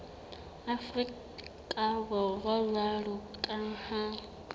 afrika borwa jwalo ka ha